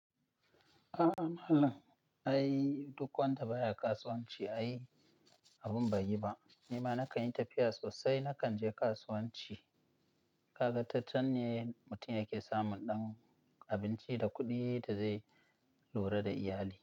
A'a malam, ai duk wanda baya kasuwanci ai abun baiyiba. Nima nakanyi tafiya sosai, na kanje kasuwanci. Kaga ta canne mutum yake samun ɗan abinci da kuɗi dazai lura da iyali.